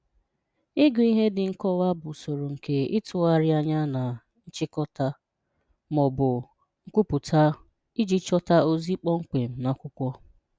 Ịgụ ihe dị nkọwa bụ usoro nke itụgharị anya na nchịkọta ma ọ bụ nkwupụta iji chọta ozi kpọmkwem n’akwụkwọ.